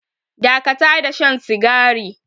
Dakata da shan sigari.